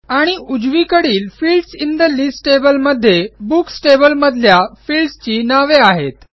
आणि उजवीकडील fields in the list table मध्ये बुक्स टेबल मधल्या फील्ड्स ची नावे आहेत